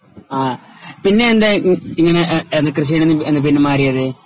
ആഹ് പിന്നെ എന്താ ഇ ഇ ഇങ്ങനെ ഏഹ് ഏത് കൃഷിയിൽ നിന്ന് പിന്മാറിയത്?